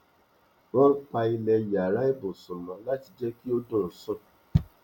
wón pa ilẹ yàrá ibùsùn mọ láti jẹ kí ó dùn sún